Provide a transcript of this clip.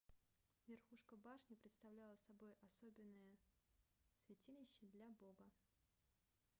верхушка башни представляла собой особенное святилище для бога